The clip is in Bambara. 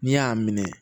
N'i y'a minɛ